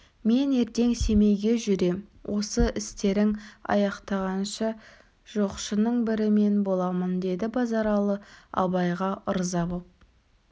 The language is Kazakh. мен ертең семейге жүрем осы істерін аяқтағанша жоқшының бірі мен боламын деді базаралы абайға ырза боп